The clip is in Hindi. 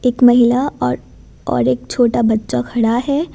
एक महिला और और एक छोटा बच्चा खड़ा है।